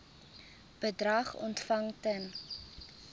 bedrag ontvang ten